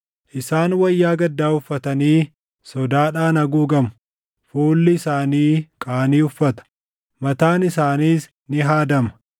Isaan wayyaa gaddaa uffatanii sodaadhaan haguugamu. Fuulli isaanii qaanii uffata; mataan isaaniis ni haadama.